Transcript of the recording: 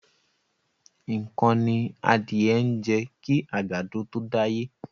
Nǹkan ni adìẹ ń jẹ kí àgbàdo tó dáyé.